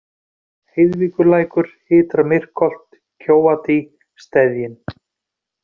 Heiðvíkurlækur, Ytra-Myrkholt, Kjóadý, Steðjinn